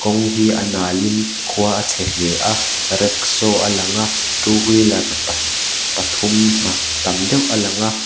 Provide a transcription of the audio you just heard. kawng hi a nal in khua a chhe hle a rickshaw a lang a two wheeler pa pathum ah tam deuh a lang a.